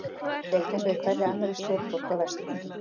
Rétt eins og í hverri annarri stórborg á vesturlöndum.